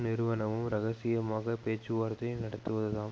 நிறுவனமும் இரகசியமாக பேச்சுவார்த்தை நடத்துவதுதான்